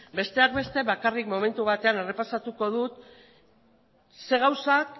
besteak beste bakarrik momentu batean errepasatuko dut zein gauzak